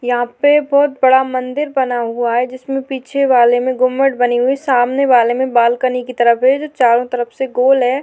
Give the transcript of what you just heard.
यहां पे बहुत बड़ा मंदिर बना हुआ है जिसमें पीछे वाले में गुम्मट बनी हुई सामने वाले में बालकनी की तरह चारों तरफ से गोल है।